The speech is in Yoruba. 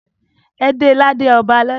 E de lade ọba lọla!